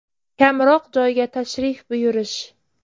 Kamroq joyga tashrif buyurish.